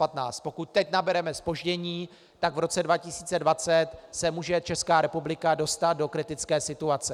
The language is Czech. Pokud teď nabereme zpoždění, tak v roce 2020 se může Česká republika dostat do kritické situace.